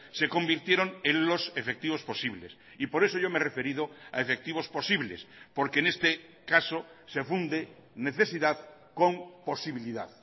se convirtieron en los efectivos posibles y por eso yo me he referido a efectivos posibles porque en este caso se funde necesidad con posibilidad